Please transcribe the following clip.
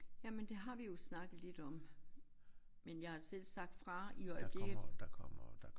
Jamen det har vi jo snakket lidt om men jeg har selv sagt fra i øjeblikket